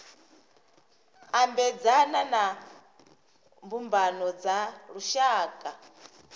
ambedzana na mbumbano dza lushaka